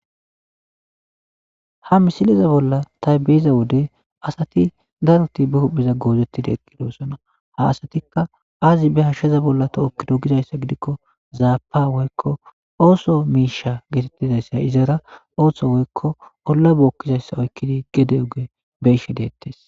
Ha misiliza bolla taybiyiza wode asati daroti bi hupheza goozettida eqqidosona ha asatikka azi be hashsheza bolla tohokkido gizayssa gidikko zaapa woykko ooso miisha geetettizayssa izara ooththo woykko olla bookkizayssa oykkidi gede oge beshe deettes